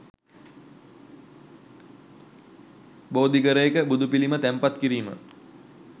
බෝධිඝරයක බුදුපිළිම තැන්පත් කිරීම